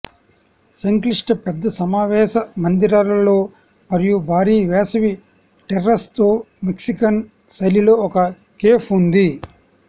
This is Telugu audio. సంక్లిష్ట పెద్ద సమావేశ మందిరాలలో మరియు భారీ వేసవి టెర్రేస్ తో మెక్సికన్ శైలి లో ఒక కేఫ్ ఉంది